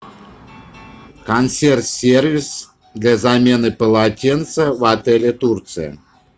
консьерж сервис для замены полотенца в отеле турция